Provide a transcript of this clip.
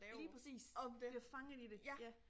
Lige præcis bliver fanget i det ja